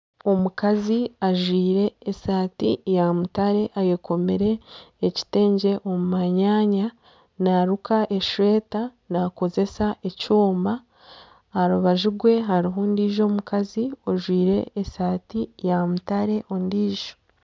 Amaju g'okushuburiramu, omurwango gw'okubanza gurimu ebijwaro by'okushubura, ahaiguru hariho ebyapa bya bururu, omu maisho g'amaju habyire pevazi kandi harimu omuti omu maisho harimu enguuto ya koorasi kandi n'omu rubaju hariho agandi maju hamwe n'emiti